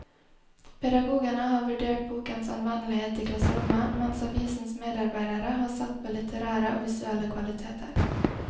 Pedagogene har vurdert bokens anvendelighet i klasserommet, mens avisens medarbeidere har sett på litterære og visuelle kvaliteter.